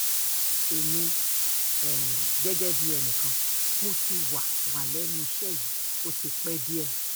èmi um gẹ́gẹ́ bíi ẹnì kan mo ti wà wà lẹ́nu iṣẹ́ yìí ó ti pẹ́ díẹ̀ um